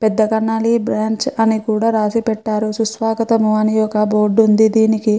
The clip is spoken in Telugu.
పెద్దకన్నాలి బ్రాంచ్ అని కూడా రాసి పెట్టారు సుస్వాగతం అని ఒక బోర్డు ఉంది దీనికి --